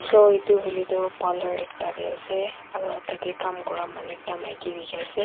aru etu hoile tu parlour ekta teh ase aru tah teh kam kora manu ekta maiki dikhi ase.